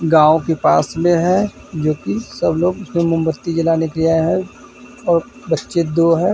गांव के पास में है जो की सब लोग मोमबत्ती जलाने आए है और बच्चे दो है।